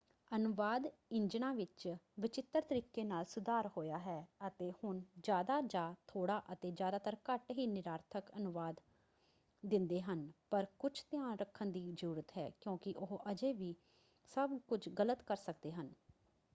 ਅਨੁਵਾਦ ਇੰਜਨਾਂ ਵਿੱਚ ਵਚਿੱਤਰ ਤਰੀਕੇ ਨਾਲ ਸੁਧਾਰ ਹੋਇਆ ਹੈ. ਅਤੇ ਹੁਣ ਜ਼ਿਆਦਾ ਜਾਂ ਥੋੜਾ ਅਤੇ ਜ਼ਿਆਤਰ ਘੱਟ ਹੀ ਨਿਰਾਰਥਕ ਅਨੁਵਾਦ ਦਿੰਦੇ ਹਨ ਪਰ ਕੁਝ ਧਿਆਨ ਰੱਖਣ ਦੀ ਜ਼ਰੂਰਤ ਹੈ ਕਿਉਂਕਿ ਉਹ ਅਜੇ ਵੀ ਸਭ ਕੁਝ ਗਲਤ ਕਰ ਸਕਦੇ ਹਨ।